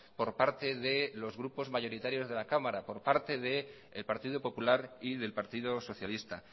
por parte de los grupos mayoritarios de la cámara por parte del partido popular y del partido socialista